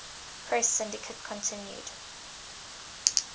press syndicate continued